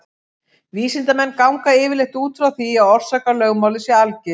Vísindamenn ganga yfirleitt út frá því að orsakalögmálið sé algilt.